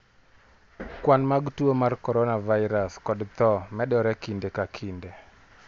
Kwan mag tuo mar coronavirus kod tho medore kinde ka kinde.